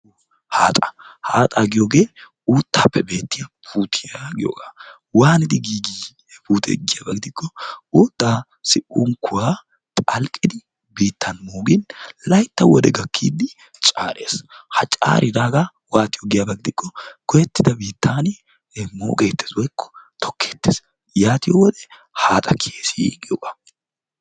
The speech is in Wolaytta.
Haaxaa. Haaxaa giyoge uuttaappe beettiya puutiya giyogaa waanidi giigi he puutee giyaba gidikko uuttaassi unkkuwa phalqqidi biittan moogin laytta wode gakkiiddi caares. Ha caaridaaga waatiyo giyaba gidikko goyettida biittaani moogeettes woykko tokkeettes. Yaatiyo wode haaxa kiyes giyoga.